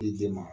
I den ma